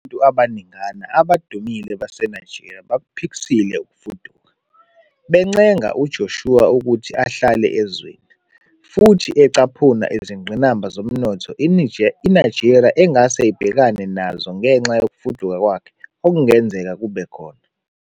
Abantu abaningana abadumile baseNigeria bakuphikisile ukufuduka, bencenga uJoshua ukuthi ahlale ezweni, futhi ecaphuna izingqinamba zomnotho iNigeria engase ibhekane nazo ngenxa yokufuduka kwakhe okungenzeka kube khona.